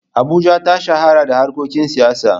Abuja ta shahara da harkokin siyasa.